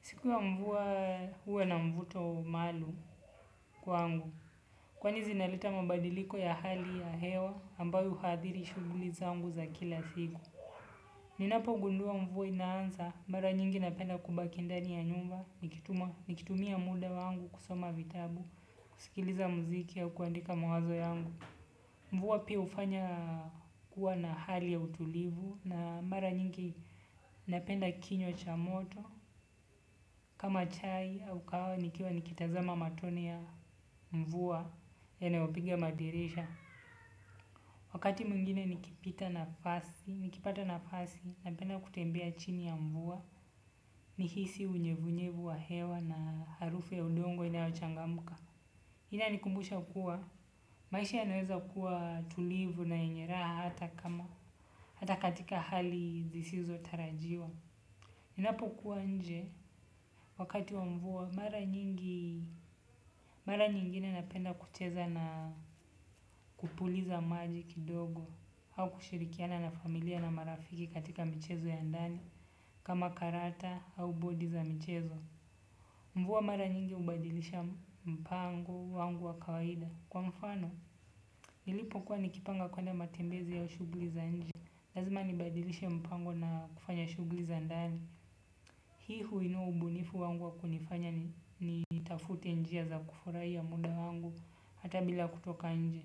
Siku ya mvua uwa na mvuto malum kwa angu. Kwani zinaleta mabadiliko ya hali ya hewa ambazo huathiri shughuli zangu za kila siku ninapogundua mvua inaanza mara nyingi napenda kubaki ndani ya nyumba nikitumia mida wangu kusoma vitabu sikiliza mziki au kuandika mawazo yangu. Mvua pia hufanya kuwa na hali ya utulivu na mara nyingi napenda kinyo cha moto. Kama chai au kahawa nikiwa nikitazama matone ya mvua yanayopiga madirisha. Wakati mwingine nikipita nafasi, nikipata nafasi, napenda kutembea chini ya mvua. Nihisi unyevu nyevu wa hewa na harufu ya udongo inayo changamka. Hii inanikumbusha kuwa. Maisha ya naweza kuwa tulivu na yenye raha hata kama. Hata katika hali zisizo tarajiwa. Ninapo kuwa nje wakati wa mvua mara nyingi mara nyingine napenda kucheza na kupuliza maji kidogo au kushirikiana na familia na marafiki katika michezo ya ndani kama karata au bodi za mchezo mvua mara nyingi hubadilisha mpango wangu wa kawaida kwa mfano nilipo kuwa niki panga kwenda matembezi au shughuli za nje. Lazima nibadilishe mpango na kufanya shughuli za ndani. Hii huinua ubunifu wangu wa kunifanya ni nitafute njia za kufurahia muda wangu hata bila kutoka nje.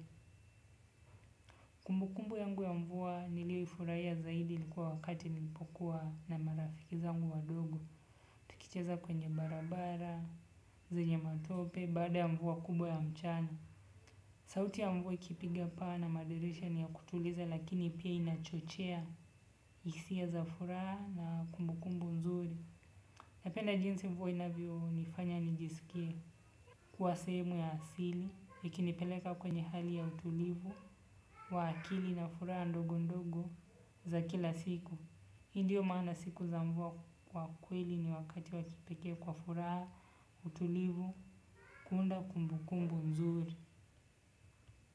Kumbukumbu yangu ya mvua nilio ifurahiya zaidi likuwa wakati nilipokuwa na marafiki zangua wadogo. Tuicheza kwenye barabara, zenye matope, baada ya mvua kubwa ya mchana. Sauti ya mvua ikipiga paa na madirisha ni ya kutuliza lakini pia inachochea. Hisia za furaha na kumbukumbu nzuri napenda jinsi mvua inavyo nifanya nijisikie kuwa sehemu ya asili ikinipeleka kwenye hali ya utulivu wa akili na furaha ndogo ndogo za kila siku hii ndio maana siku za mvua kwa kweli ni wakati wakipeke kwa furaha. Utulivu kuunda kumbukumbu nzuri.